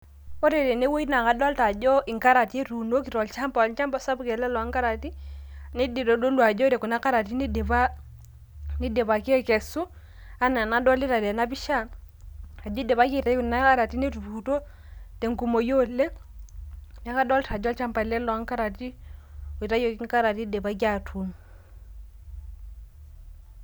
Ore tenewueji naa kadolita ajo inkarati etuunoki tolchamba ,olchamba sapuk ele loonkarati neitodolu ajo ore kuna karati nidipaki aikesu enaa enadolita tena pisha ajo eidipaji aitayu kuna karati netupukutuo tenkumoi oleng leeku kadolita ajo olchamba ele loo nkarati oitayioki inkarati eidipaki aatuun.